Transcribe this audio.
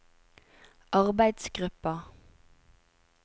arbeidsgruppa